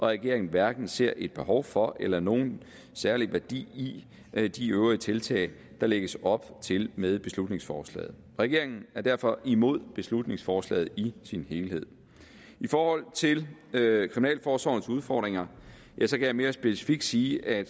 regeringen hverken ser et behov for eller nogen særlig værdi i de øvrige tiltag der lægges op til med beslutningsforslaget regeringen er derfor imod beslutningsforslaget i sin helhed i forhold til kriminalforsorgens udfordringer kan jeg mere specifikt sige at